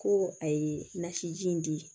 Ko a ye nasi ji in di